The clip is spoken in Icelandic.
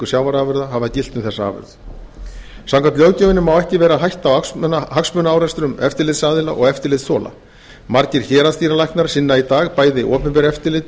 sjávarafurða hafa gilt um þessa afurð samkvæmt löggjöfinni má ekki vera hætta á hagsmunaárekstrum eftirlitsaðila og eftirlitsþola margir héraðsdýralæknar sinna í dag bæði opinberu eftirliti